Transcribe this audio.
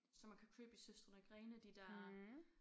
Som man kan købe i Søstrene Grene de der